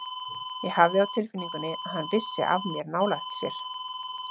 Ég hafði á tilfinningunni að hann vissi af mér nálægt sér.